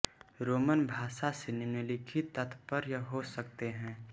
Roman भाषा से निम्लिखित तात्पर्य हो सकते हैं